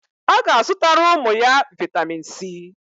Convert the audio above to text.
O ga azutara umu ya vitamin C.